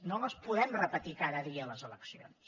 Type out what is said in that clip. no les podem repetir cada dia les eleccions